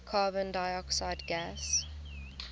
carbon dioxide gas